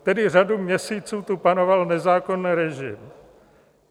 Tedy řadu měsíců tu panoval nezákonný režim.